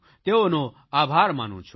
તેઓનો આભાર માનું છું